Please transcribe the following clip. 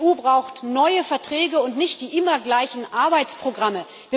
Die EU braucht neue Verträge und nicht die immer gleichen Arbeitsprogramme.